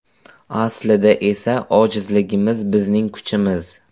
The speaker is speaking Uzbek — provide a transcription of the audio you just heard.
Aslida esa ojizligimiz - bizning kuchimiz.